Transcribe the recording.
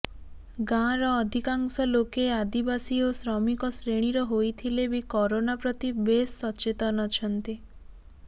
ଗାଁର ଅଧିକାଂଶ ଲୋକେ ଆଦିବାସୀ ଓ ଶ୍ରମିକ ଶ୍ରେଣୀର ହୋଇଥିଲେ ବି କରୋନା ପ୍ରତି ବେଶ ସଚେତନ ଅଛନ୍ତି